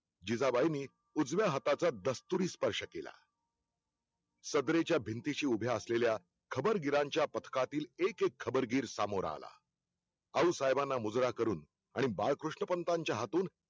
जिजाबाईंनी उजव्या हाताचा दस्तूरी स्पर्श केला सदरेच्या भिंतीशी उभ्या असलेल्या खबरगीरांच्या पथकातील एक -एक खबरगीर समोर आला, आऊसाहेबांना मुजरा करून आणि बाळकृष्णपंतांच्या हातून